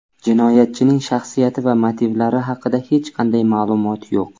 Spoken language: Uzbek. Jinoyatchining shaxsiyati va motivlari haqida hech qanday ma’lumot yo‘q.